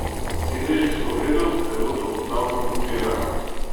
Sedeži so v redu, telo dobro podpirajo.